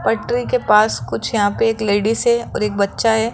पटरी के पास कुछ यहां पे एक लेडीस है और एक बच्चा है।